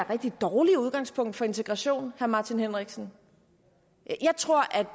rigtig dårligt udgangspunkt for integration herre martin henriksen jeg tror at